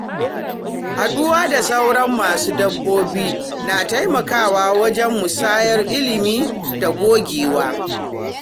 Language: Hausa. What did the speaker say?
Haɗuwa da sauran masu dabbobi na taimakawa wajen musayar ilimi da gogewa.